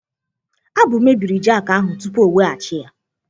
Abu mebiri jakị ahụ tupu ọ weghachi ya.